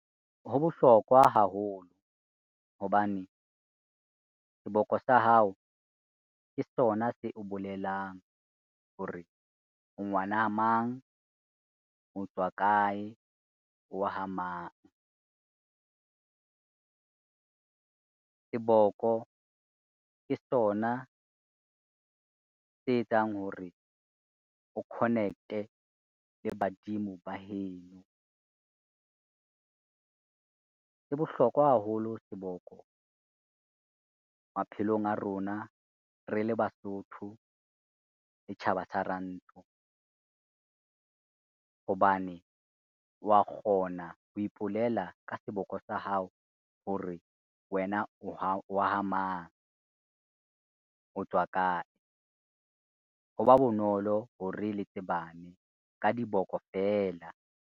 Ho bohlokwa haholo hobane, seboko sa hao ke sona se o bolelang hore, o ngwana a mang, o tswa kae, o wa ha mang. Seboko ke sona se etsang hore o connect-e le badimo ba heno. Se bohlokwa haholo seboko maphelong a rona, re le Basotho le tjhaba sa rantsho. Hobane wa kgona ho ipolela ka seboko sa hao hore wena o wa ha mang o tswa kae, ho ba bonolo hore le tsebane ka diboko feela.